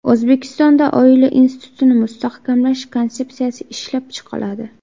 O‘zbekistonda oila institutini mustahkamlash konsepsiyasi ishlab chiqiladi.